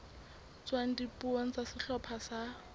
tswang dipuong tsa sehlopha sa